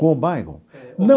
Com o bairro?